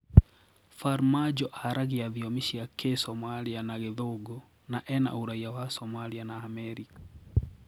Farmajo aragia thiomi cia Kisomalia na Githũngu na ena ũraiya wa Somalia na Amerika.